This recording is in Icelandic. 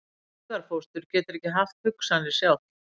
Hugarfóstur getur ekki haft hugsanir sjálft.